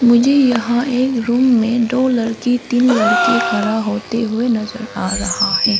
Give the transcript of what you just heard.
मुझे यहां एक रूम में दो लड़की तीन लड़के खड़ा होते हुए नजर आ रहा है।